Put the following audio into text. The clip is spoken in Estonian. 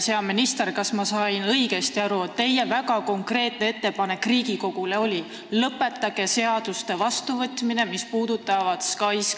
Hea minister, kas ma sain õigesti aru, et teie väga konkreetne ettepanek Riigikogule on, et lõpetage SKAIS2 puudutavate seaduste vastuvõtmine?